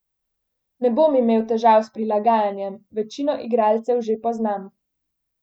Ne bom imel težav s prilagajanjem, večino igralcev že poznam.